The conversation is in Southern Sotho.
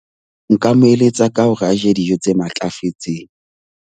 Nka mo eletsa ka hore a je dijo tse matlafetseng.